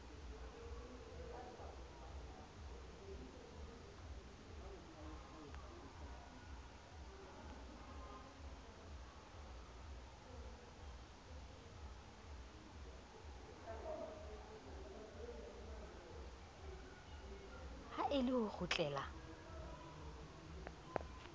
ha e le ho kgutlela